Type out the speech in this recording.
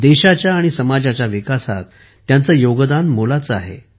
देशाच्या आणि समाजाच्या विकासात त्यांचे योगदान मोलाचे आहे